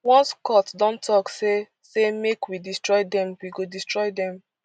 once court don tok say say make we destroy dem we go destroy dem